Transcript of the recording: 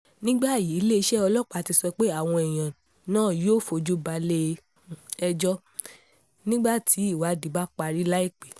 ní báyìí iléeṣẹ́ ọlọ́pàá ti sọ pé àwọn èèyàn náà yóò fojú balẹ̀-ẹjọ́ nígbà tí ìwádìí bá parí láìpẹ́